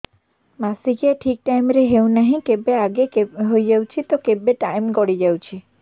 ମାସିକିଆ ଠିକ ଟାଇମ ରେ ହେଉନାହଁ କେବେ ଆଗେ ହେଇଯାଉଛି ତ କେବେ ଟାଇମ ଗଡି ଯାଉଛି